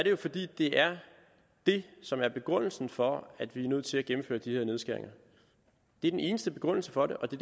jo fordi det er det som er begrundelsen for at vi er nødt til at gennemføre de her nedskæringer det er den eneste begrundelse for det og det